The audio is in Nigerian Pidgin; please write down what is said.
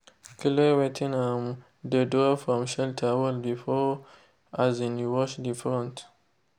clear wetin um de drop from shelter wall before um you wash de front.